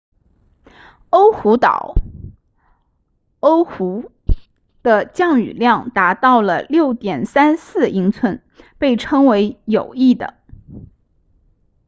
欧胡岛 oahu 的降雨量达到了 6.34 英寸被称为有益的